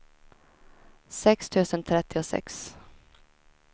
sex tusen trettiosex